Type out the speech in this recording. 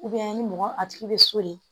ni mɔgɔ a tigi bɛ soli